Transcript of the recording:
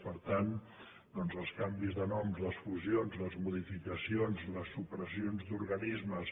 per tant els canvis de noms les fusions les modificacions les supressions d’organismes